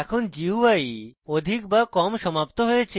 এখন gui অধিক বা কম সমাপ্ত হয়েছে